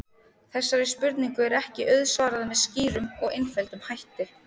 Þessari spurningu er ekki auðsvarað með skýrum og einföldum hætti.